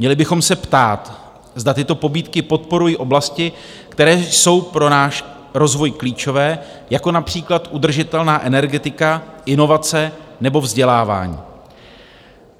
Měli bychom se ptát, zda tyto pobídky podporují oblasti, které jsou pro náš rozvoj klíčové, jako například udržitelná energetika, inovace nebo vzdělávání.